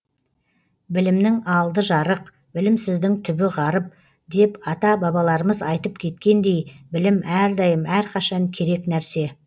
білімнің алды жарық білімсіздің түбі ғарып деп ата бабаларымыз айтып кеткендей білім әрдайым әрқашан керек нәрсе